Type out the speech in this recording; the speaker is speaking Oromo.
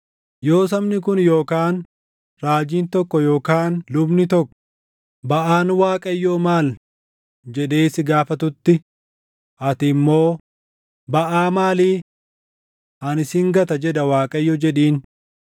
“Yoo sabni kun yookaan raajiin tokko yookaan lubni tokko, ‘Baʼaan Waaqayyoo maal?’ jedhee si gaafatutti, ati immoo, ‘Baʼaa maalii? Ani sin gata jedha Waaqayyo’ jedhiin.